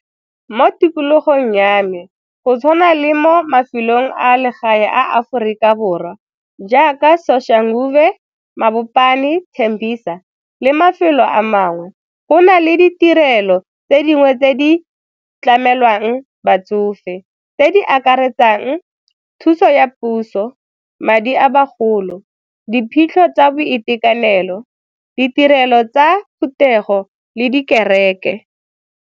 Mo tikologong ya me, go tshwana le mo mafelong a legae a Aforika Borwa jaaka Soshanguve, Mabopane, Tembisa le mafelo a mangwe. Go na le ditirelo tse dingwe tse di tlamelwang batsofe tse di akaretsang thuso ya puso, madi a bagolo, diphitlho tsa boitekanelo, ditirelo tsa Phutego le dikereke.